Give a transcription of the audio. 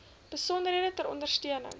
besonderhede ter ondersteuning